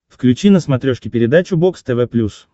включи на смотрешке передачу бокс тв плюс